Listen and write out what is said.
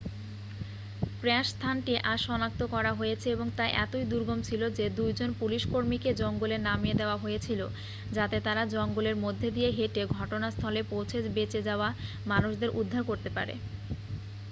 crash স্থানটি আজ সনাক্ত করা হয়েছে এবং তা এতই দুর্গম ছিল যে 2 জন পুলিশকর্মীকে জঙ্গলে নামিয়ে দেওয়া হয়েছিল যাতে তাঁরা জঙ্গলের মধ্যে দিয়ে হেঁটে ঘটনাস্থলে পৌঁছে বেঁচে যাওয়া মানুষদের উদ্ধার করতে পারে